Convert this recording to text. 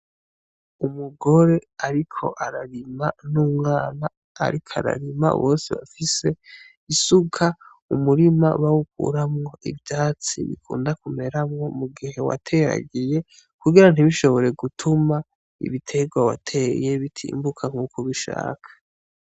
Umugore ariko ararima, n'umwana ariko ararima bose bafise isuka. Umurima bawukuramwo ivyatsi bikunda kumeramwo mugihe wateragiye kugira ntibishobore gutuma ibitegwa wateye bitimbuka nkuko ubishaka.